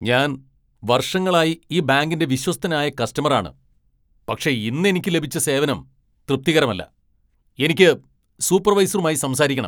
ഞാൻ വർഷങ്ങളായി ഈ ബാങ്കിന്റെ വിശ്വസ്തനായ കസ്റ്റമറാണ്, പക്ഷേ ഇന്ന് എനിക്ക് ലഭിച്ച സേവനം തൃപ്തികരമല്ല. എനിക്ക് സൂപ്പർവൈസറുമായി സംസാരിക്കക്കണം .